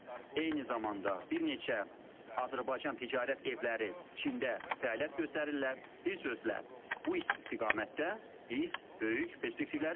Eyni zamanda bir neçə Azərbaycan ticarət evləri Çində fəaliyyət göstərirlər, bir sözlə bu istiqamətdə biz böyük perspektivləri görürük.